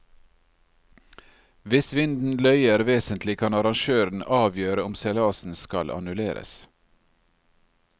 Hvis vinden løyer vesentlig kan arrangøren avgjøre om seilasen skal annulleres.